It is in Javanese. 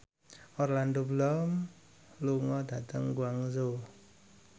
Orlando Bloom lunga dhateng Guangzhou